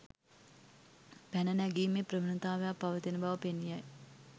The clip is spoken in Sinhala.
පැන නැගීමේ ප්‍රවණතාවක් පවතින බව පෙනී යයි.